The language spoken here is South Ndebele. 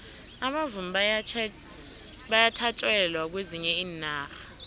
abavumi bayathatjelwa kwezinye iinarha